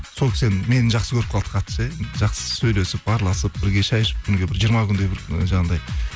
сол кісі енді мені жақсы көріп қалды қатты ше жақсы сөйлесіп араласып бірге шай ішіп күніге бір жиырма күндей бір ы жаңағындай